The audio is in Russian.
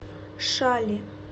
шали